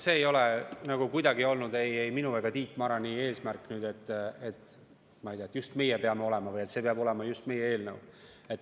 See ei ole kuidagi olnud ei minu ega Tiit Marani eesmärk, et, ma ei tea, just meie peame olema, et see peab olema just meie eelnõu.